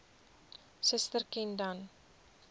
suster ken dan